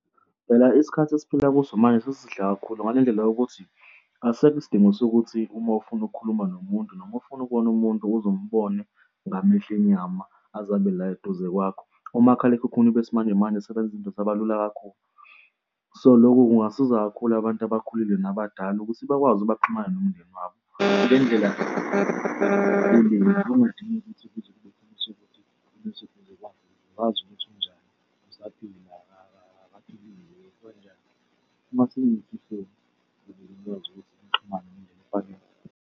Phela isikhathi esiphila kuso manje sesihle kakhulu ngale ndlela yokuthi asisekho isidingo sokuthi uma ufuna ukukhuluma nomuntu noma ufuna ukubona umuntu ukuze umbone ngamehlo enyama, azabe la eduze kwakho. Umakhalekhukhwini besimanjemanje sebenza izinto zaba lula kakhulu, so lokhu kungasiza kakhulu abantu abakhulile nabadala ukuthi bakwazi baxhumane nomndeni wakho ngendlela kungadingeki ukuthi umuntu oseduze kwakhe ukuze ngikwazi ukuthi unjani usaphila noma akaphilile yini, so nje ukuze nikwazi ukuthi nixhumane ngendlela efanele.